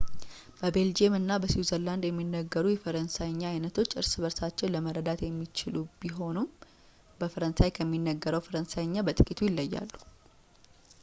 በቤልጅየም እና በስዊዘርላንድ የሚነገሩት የፈረንሣይኛ ዓይነቶች እርስ በእርሳቸው ለመረዳት የሚቻሉ ቢሆኑም በፈረንሳይ ከሚነገረው ፈረንሣይኛ በጥቂቱ ይለያሉ